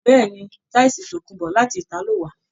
Béèni, tísìì tòkunbó láti italo wà.